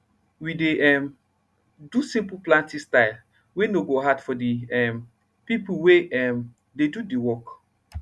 we dey um do simple plantin style wey nor go hard for de um few pipo wey um dey do de work